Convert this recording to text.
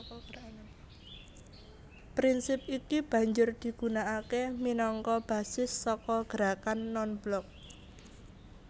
Prinsip iki banjur digunakaké minangka basis saka Gerakan Non Blok